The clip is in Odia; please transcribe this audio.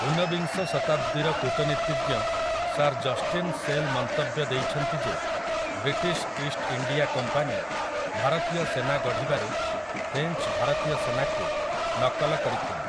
ଉନବିଂଶ ଶତାବ୍ଦୀର କୂଟନୀତିଜ୍ଞ ସାର୍ ଜଷ୍ଟିନ୍ ଶେଲ୍ ମନ୍ତବ୍ୟ ଦେଇଛନ୍ତି ଯେ ବ୍ରିଟିଶ୍ ଇଷ୍ଟ ଇଣ୍ଡିଆ କମ୍ପାନୀ ଭାରତୀୟ ସେନା ଗଢ଼ିବାରେ ଫ୍ରେଞ୍ଚ ଭାରତୀୟ ସେନାକୁ ନକଲ କରିଥିଲେ ।